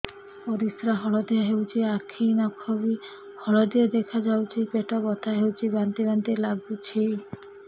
ପରିସ୍ରା ହଳଦିଆ ହେଉଛି ଆଖି ନଖ ବି ହଳଦିଆ ଦେଖାଯାଉଛି ପେଟ ବଥା ହେଉଛି ବାନ୍ତି ବାନ୍ତି ଲାଗୁଛି